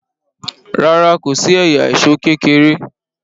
ràrá kòsí ẹyà Èṣó kékeré.